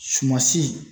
Sumansi